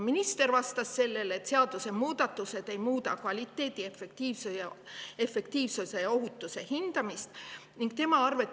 Minister vastas sellele, et seadusemuudatused ei muuda kvaliteedi, efektiivsuse ja ohutuse hindamise.